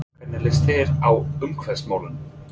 Hvernig líst þér á umhverfismálin?